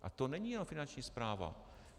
A to není jenom Finanční správa.